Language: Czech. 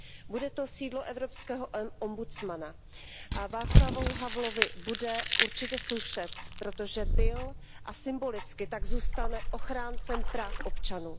Bude to sídlo Evropského ombudsmana a Václavu Havlovi bude určitě slušet, protože byl, a symbolicky tak zůstane ochráncem práv občanů.